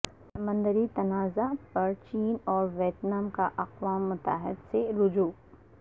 سمندری تنازع پر چین اور ویتنام کا اقوام متحدہ سے رجوع